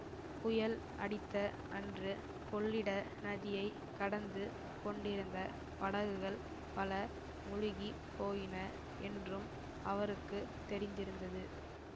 புயல் அடித்த அன்று கொள்ளிட நதியைக் கடந்து கொண்டிருந்த படகுகள் பல முழுகி போயின என்றும் அவருக்கு தெரிந்திருந்தது